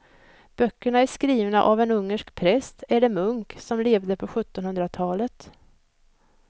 Böckerna är skrivna av en ungersk präst eller munk som levde på sjuttonhundratalet.